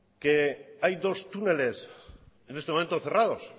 que hay dos túneles en este momento cerrados